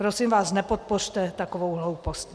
Prosím vás, nepodpořte takovou hloupost.